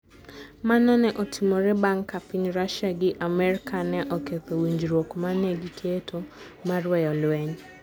Mano ne otimore bang ' ka piny Russia gi Amerka ne oketho winjruok ma ne giketo mar weyo lweny.